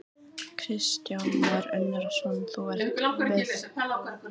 Kristján Már Unnarsson, þú ert við eitt þeirra, brú sem óttast var um í dag?